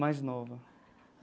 Mais nova.